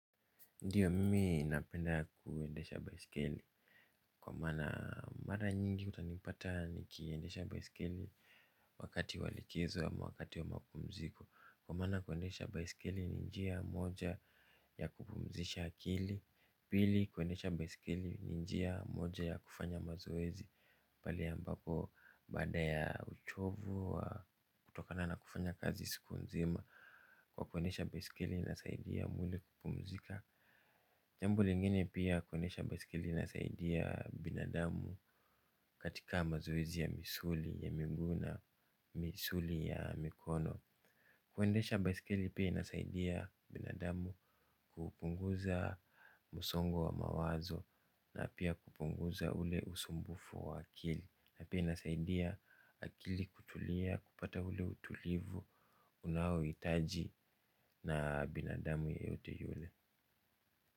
Ndiyo mimi napenda kuendesha baiskeli kwa maana mara nyingi utanipata nikiendesha baiskeli wakati wa likizo ama wakati wa mapumziko. Kwa maana kuendesha baiskeli ni njia moja ya kupumzisha akili. Pili kuendesha baiskeli ni njia moja ya kufanya mazoezi. Pahali ambapo baada ya uchovu wa kutokana na kufanya kazi siku nzima kwa kuendesha baiskeli inasaidia mwili kupumzika. Jambo lingine pia kuendesha baiskeli inasaidia binadamu katika mazoezi ya misuli ya miguu na, misuli ya mikono. Kuendesha baiskeli pia inasaidia binadamu kupunguza msongo wa mawazo na pia kupunguza ule usumbufu wa akili. Na pia inasaidia akili kutulia kupata ule utulivu unaouhitaji na binadamu yeyote yule.